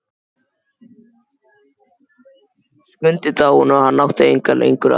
Skundi dáinn og hann átti engan lengur að.